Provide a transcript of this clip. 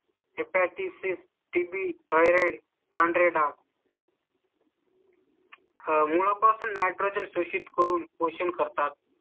tb, Thyroid पांढरे डाग . हा मुळा पासून नाही तर शोषित करून क्वेश्चन करतात.